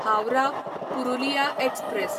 Howrah Purulia express